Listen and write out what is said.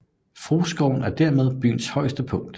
Frueskoven er dermed byens højeste punkt